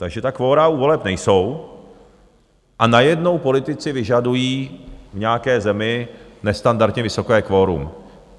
Takže ta kvora u voleb nejsou a najednou politici vyžadují v nějaké zemi nestandardně vysoké kvorum.